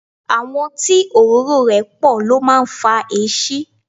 Àwọ̀ tí òróró rẹ̀ pọ̀ ló máa ń fa èéṣí.